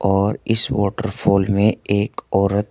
और इस वॉटरफॉल में एक औरत--